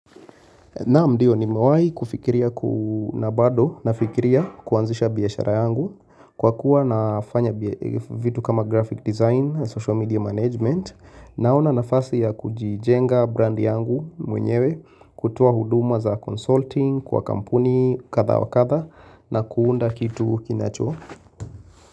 Naam ndio nimewahi kufikiria na bado nafikiria kuanzisha biashara yangu kwa kuwa nafanya vitu kama graphic design, social media management Naona nafasi ya kujijenga brandi yangu mwenyewe kutoa huduma za consulting kwa kampuni kadha wa kadha na kuunda kitu kinacho.